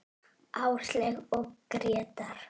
Áslaug og Grétar.